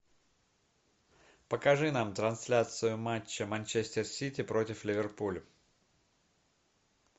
покажи нам трансляцию матча манчестер сити против ливерпуль